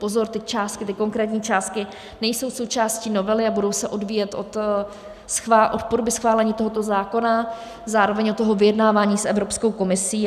Pozor, ty konkrétní částky nejsou součástí novely a budou se odvíjet od podoby schválení tohoto zákona, zároveň od toho vyjednávání s Evropskou komisí.